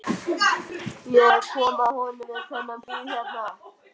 Ég kom að honum við þennan bíl hérna.